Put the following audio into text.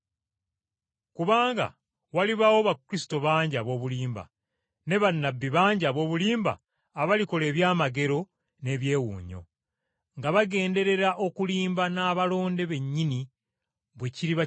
Kubanga bakristo ab’obulimba balijja, ne bannabbi ab’obulimba nabo balijja ne bakola eby’amagero n’ebyewuunyo, nga bagenderera okulimba n’abalonde ba Katonda.